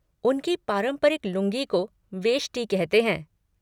उनकी पारंपरिक लूँगी को वेष्टी कहते हैं।